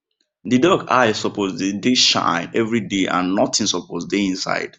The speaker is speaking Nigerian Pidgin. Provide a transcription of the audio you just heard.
the duck eye suppose dey dey shine everyday and nothing suppose dey inside